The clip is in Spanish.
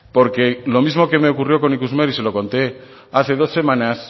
porque lo mismo que me ocurrió con ikusmer y se lo conté hace dos semanas